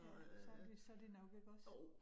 Ja, så det så det nok ikke også